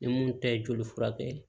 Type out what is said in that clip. Ni mun tɛ joli furakɛ ye